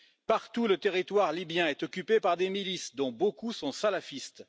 Partout, le territoire libyen est occupé par des milices, dont beaucoup sont salafistes.